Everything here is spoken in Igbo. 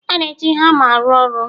A na-eji hama arụ ọrụ